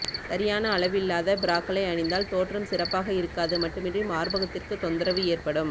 சரியான அளவில்லாத பிராக்களை அணிந்தால் தோற்றம் சிறப்பாக இருக்காது மட்டுமின்றி மார்பகத்திற்கு தொந்தரவு ஏற்படும்